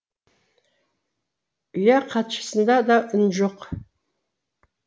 ұя хатшысында да үн жоқ